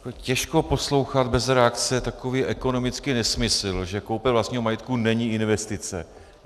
Těžko poslouchat bez reakce takový ekonomický nesmysl, že koupě vlastního majetku není investice.